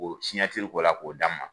K'o ko la k'o d'a ma